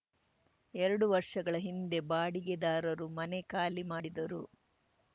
ಎರಡು ವರ್ಷಗಳ ಹಿಂದೆ ಬಾಡಿಗೆದಾರರು ಮನೆ ಖಾಲಿ ಮಾಡಿದರು